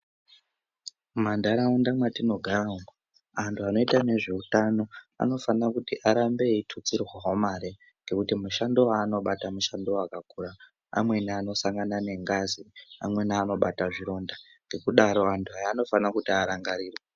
Mumanharaunda mwatinogara umu, antu vanoita nezveutano anofanira kuti aramba eitutsirwawo mare. Ngokuti mushando wavanobata mushando wakakura. Amweni anosangana nengazi, amweni anobata zvironda. Ngekudaro antu ayaa anofanira kuti arangarirwe.